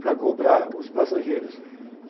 para cobrar os passageiros.